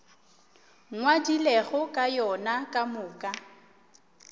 ngwadilego ka yona ka moka